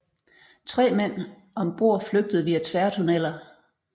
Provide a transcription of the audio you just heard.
Tre mænd om bord flygtede via tværtunneler